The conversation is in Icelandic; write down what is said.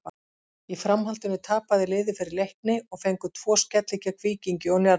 Í framhaldinu tapaði liðið fyrir Leikni og fengu tvo skelli gegn Víkingi og Njarðvík.